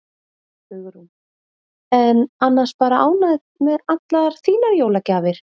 Hugrún: En annars bara ánægð með allar þínar jólagjafir?